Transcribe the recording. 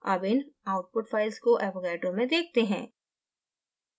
अब इन output files को avogadro में देखते हैं